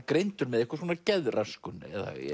greindur með einhvers konar geðröskun